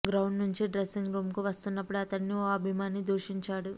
ground నుంచి dressing రూమ్కు వస్తున్నప్పుడు అతడిని ఓ అభిమాని దూషించాడు